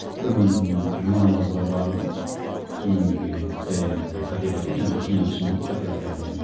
бір күні жұма намазға барды сонымен бірге енді қате қате енді кейін түсіндім ғой қате қате алғанымды